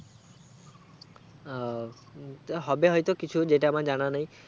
ওহ হু হবে হয়তো কিছু যেটা আমার জানা নেই